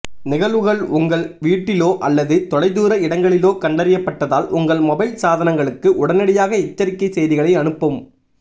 நிகழ்வுகள் உங்கள் வீட்டிலோ அல்லது தொலைதூர இடங்களிலோ கண்டறியப்பட்டதால் உங்கள் மொபைல் சாதனங்களுக்கு உடனடியாக எச்சரிக்கை செய்திகளை அனுப்பும்